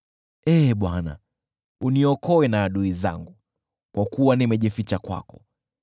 Ee Bwana , uniokoe na adui zangu, kwa kuwa nimejificha kwako.